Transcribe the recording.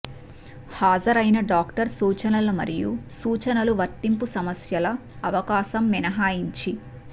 హాజరైన డాక్టర్ సూచనల మరియు సూచనలు వర్తింపు సమస్యల అవకాశం మినహాయించి